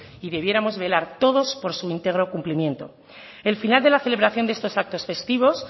y debiéramos velar todos por su íntegro cumplimiento el final de la celebración de estos actos festivos